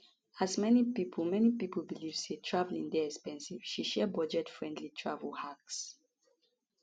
as many pipo many pipo believe say traveling dey expensive she share budgetfriendly travel hacks